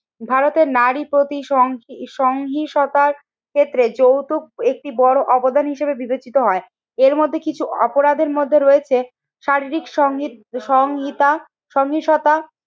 ভারতের নারী প্রতি সংহি সংহিশ্রতার ক্ষেত্রে যৌতুক একটি বড় অবদান হিসেবে বিবেচিত হয়। এর মধ্যে কিছু অপরাধের মধ্যে রয়েছে শারীরিক সংগীত সংহিতা সংহিশ্রতা,